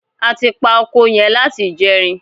A ti pa oko yẹn láti ìjẹrin.